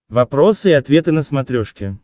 вопросы и ответы на смотрешке